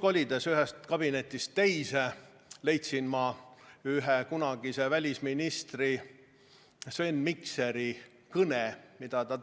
Kolides nüüd ühest kabinetist teise leidsin ma kunagise välisministri Sven Mikseri kõne, mille ta